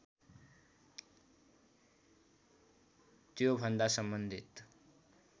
त्योभन्दा सम्बन्धित